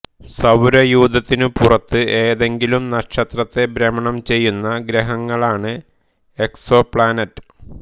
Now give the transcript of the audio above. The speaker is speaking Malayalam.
സൌരയൂഥത്തിനു പുറത്ത് ഏതെങ്കിലും നക്ഷത്രത്തെ ഭ്രമണം ചെയ്യുന്ന ഗ്രഹങ്ങളാണ് എക്സോപ്ലാനറ്റ്